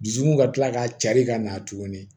Dusukun ka tila ka cari ka na tuguni